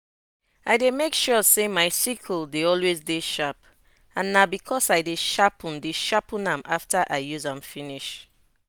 i dey make sure say my sickle dey always dey sharp and na because i dey sharpen dey sharpen am after i use am finish.